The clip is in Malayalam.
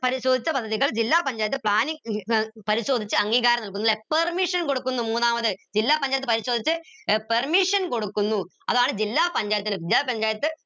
പരിശോധിച്ച പദ്ധതികൾ ജില്ലാ പഞ്ചായത്ത് planning പരിശോധിച്ച് അംഗീകാരം നൽകുന്നു ല്ലേ permission കൊടുക്കുന്നു മൂന്നാമത് ജില്ലാ പഞ്ചായത്ത് പരിശോധിച്ച് permission കൊടുക്കുന്നു അതാണ് ജില്ലാ പഞ്ചായത്ത് ജില്ലാ പഞ്ചായത്ത്